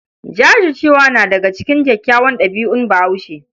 Jajircewa na daga cikin kyawawan ɗabi'un Bahaushe.